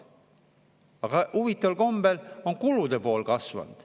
Aga huvitaval kombel on ka kulude pool kasvanud.